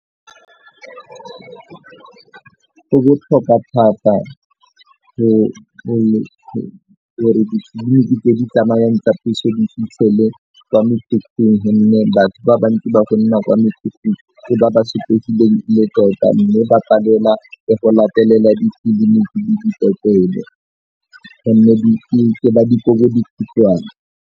Go botlhokwa thata gore ditleliniki tse di tsamayang tsa puso di fitlhele gonne batho ba bantsi ba gonna kwa mekhukhung ke ba ba sotlegileng e le tota mme ba palelwa ke go latelela ke ba dikobodikhutswane.